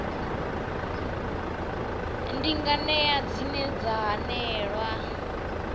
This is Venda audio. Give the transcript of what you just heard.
ndi nganea dzine dza hanelelwa